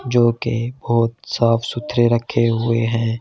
जो कि बहुत साफ सुथरे रखे हुए हैं।